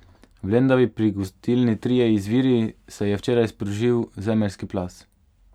V Lendavi pri gostilni Trije Izviri se je včeraj sprožil zemeljski plaz.